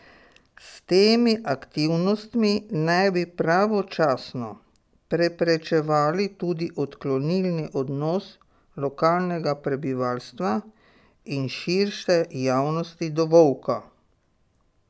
S temi aktivnostmi naj bi pravočasno preprečevali tudi odklonilni odnos lokalnega prebivalstva in širše javnosti do volka.